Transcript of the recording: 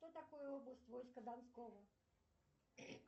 что такое область войска донского